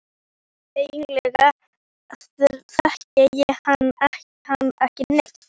Eiginlega þekkti ég hann ekki neitt.